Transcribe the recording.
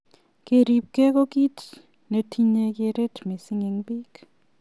Keribkei ko ki netinyei keret missing eng bik.